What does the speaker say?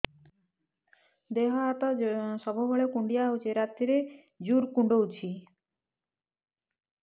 ଦେହ ହାତ ସବୁବେଳେ କୁଣ୍ଡିଆ ହଉଚି ରାତିରେ ଜୁର୍ କୁଣ୍ଡଉଚି